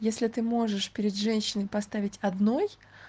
если ты можешь перед женщиной поставить одной